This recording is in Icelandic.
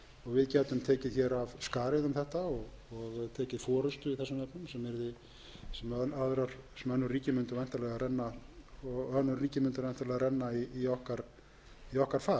við gætum tekið hér af skarið um þetta og tekið forustu í þessum efnum sem önnur ríki mundu væntanlega renna í okkar far það